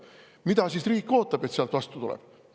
Mida riik ootab, et sealt vastu tuleb?